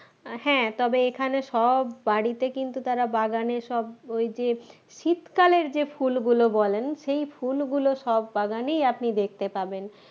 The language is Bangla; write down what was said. আহ হ্যাঁ তবে এখানে সব বাড়িতে কিন্তু তাঁরা বাগানে সব ওই যে শীতকালের যে ফুলগুলো বলেন সেই ফুলগুলো সব বাগানেই আপনি দেখতে পাবেন